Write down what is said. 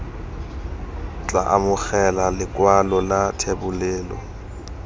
tla amogela lekwalo la thebolelo